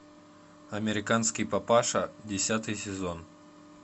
американский папаша десятый сезон